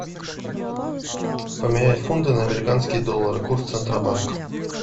поменять фунты на американские доллары курс центробанка